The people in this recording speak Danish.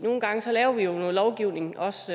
nogle gange laver vi jo noget lovgivning os